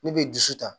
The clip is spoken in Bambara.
Ne bɛ dusu ta